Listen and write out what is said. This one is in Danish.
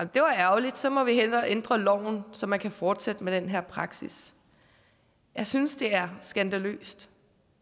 det var ærgerligt så må vi hellere ændre loven så man kan fortsætte med den her praksis jeg synes det er skandaløst